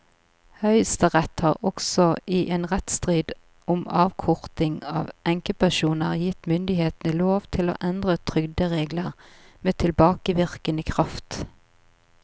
Høyesterett har også i en rettsstrid om avkorting av enkepensjoner gitt myndighetene lov til å endre trygderegler med tilbakevirkende kraft.